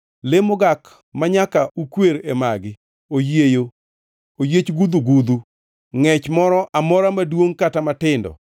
“ ‘Le mogak manyaka ukwer e magi: oyieyo, oyiech gudhugudhu, ngʼech moro amora maduongʼ kata matindo,